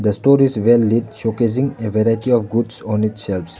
The store is well-lit showcasing a variety of goods on its shelves.